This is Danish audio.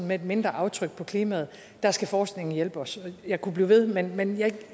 med et mindre aftryk på klimaet og der skal forskningen hjælpe os jeg kunne blive ved men men